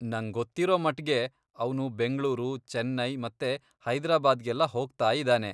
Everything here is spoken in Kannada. ನಂಗೊತ್ತಿರೋ ಮಟ್ಗೆ ಅವ್ನು ಬೆಂಗ್ಳೂರು, ಚೆನ್ನೈ ಮತ್ತೆ ಹೈದ್ರಾಬಾದ್ಗೆಲ್ಲ ಹೋಗ್ತಾಯಿದಾನೆ.